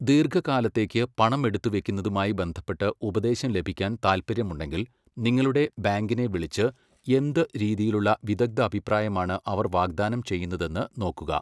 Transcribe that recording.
ദീർഘകാലത്തേക്ക് പണം എടുത്ത് വെക്കുന്നതുമായി ബന്ധപ്പെട്ട് ഉപദേശം ലഭിക്കാൻ താൽപ്പര്യമുണ്ടെങ്കിൽ, നിങ്ങളുടെ ബാങ്കിനെ വിളിച്ച് എന്ത് രീതിയിലുള്ള വിദഗ്ദ്ധാഭിപ്രായമാണ് അവർ വാഗ്ദാനം ചെയ്യുന്നതെന്ന് നോക്കുക.